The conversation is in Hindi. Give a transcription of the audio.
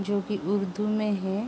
जो कि उर्दू में है।